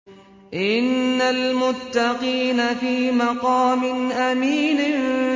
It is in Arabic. إِنَّ الْمُتَّقِينَ فِي مَقَامٍ أَمِينٍ